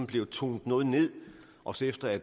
blevet tonet noget ned også efter at